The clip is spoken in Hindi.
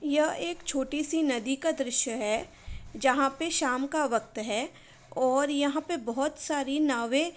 यह एक छोटी सी नदी का दृश्य है। जहाँ पे शाम का वक्त है और यहाँ पे बहोत सारी नावें --